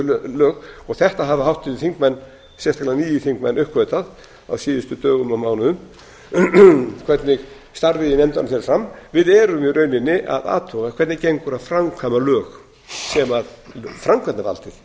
viðkomandi lög og þetta hafa háttvirtir þingmenn sérstaklega nýir þingmenn uppgötvað á síðustu dögum og mánuðum hvernig starfið í nefndunum fer fram við erum í rauninni að athuga hvernig gengur að framkvæma lög sem framkvæmdarvaldið